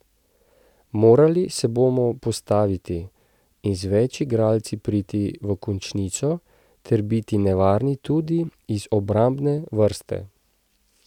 Morali se bomo postaviti in z več igralci priti v končnico ter biti nevarni tudi iz obrambne vrste.